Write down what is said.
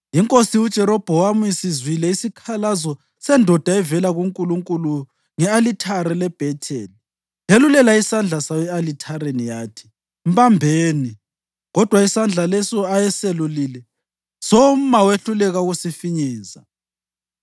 Inkosi uJerobhowamu isizwile isikhalazo sendoda evela kuNkulunkulu nge-alithare leBhetheli yelulela isandla sayo e-alithareni, yathi, “Mbambeni!” Kodwa isandla leso ayeselulile soma wehluleka ukusifinyeza.